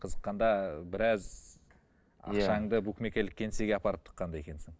қызыққанда біраз ақшаңды букмекерлік кеңеге апарып тыққан да екенсің